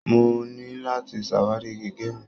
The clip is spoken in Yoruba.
Mo ní láti ṣàwárí gègé mi.